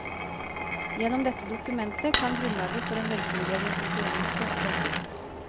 Gjennom dette dokumentet kan grunnlaget for en velfungerende konkurranse legges.